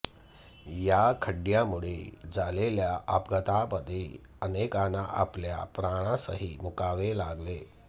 या खड्ड्यांमुळे झालेल्या अपघातांमध्ये अनेकांना आपल्या प्राणासही मुकावे लागले